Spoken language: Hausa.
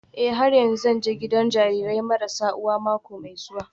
Eh har yanzu zan je gidan jarirai marasa uwa gida mako mai zuwa